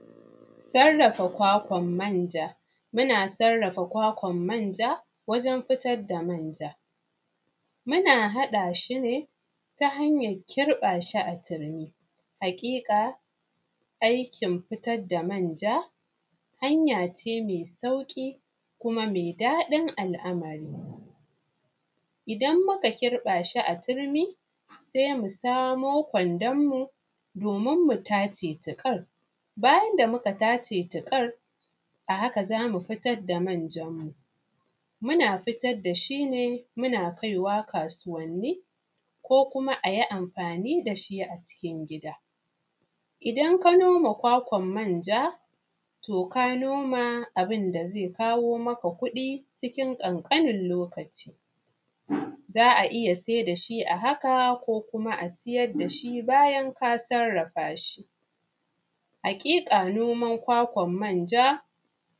Sarrafa kwakwan manja muna sarrafa kwakwan manja wajen fitar da manja, muna haɗa shi ne ta hanyar kirɓa shi a turmi. Haƙiƙa aikin fitar da manja me tsauƙi ne kuma me daɗin al’amari, idan muka kirɓa shi a turmi se mu samo domin mu tace ta tsaf bayan da muka tace ta ƙar, a haka za mu fitar da manjanmu. Muna fitar da shi ne muna kai wa kasuwanni ko kuma a yi amfani da shi a cikin gida, idan ka shuka kwakwan manja to ka noma abun da ze kawo maka kuɗi cikin ƙanƙanin lokaci. Za a iya siyar da shi a haka ko kuma a siyar da shi bayan ka sarrafa shi, haƙiƙa noman kwakwan manja.